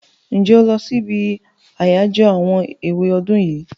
Ǹjẹ́ o lọ sí ibi àyájọ́ àwọn èwe ọdún yìí?